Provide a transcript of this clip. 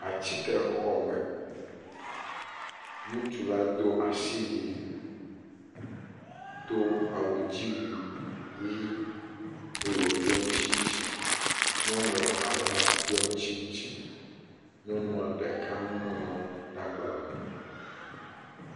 Atikexɔme, ŋutsu la do asiwui do awudziwuiʋɛ̃ eye wòɖɔ tsintsin, nyɔnu eveawo hã ɖɔ tsintsin, Nyɔnua ɖeka nu ŋlɔm ɖe agbalẽ me.